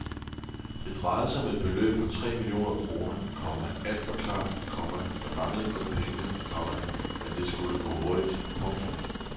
Det drejede sig om et beløb på tre millioner kroner, komma alt var klart, komma der manglede kun pengene, komma men det skulle gå hurtigt. punktum